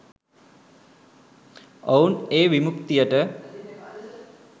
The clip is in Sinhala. ඔවුන් ඒ විමුක්තියට